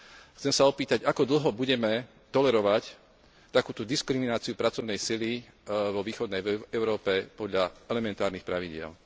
Chcem sa opýtať, ako dlho budeme tolerovať takúto diskrimináciu pracovnej sily vo východnej Európe podľa elementárnych pravidiel.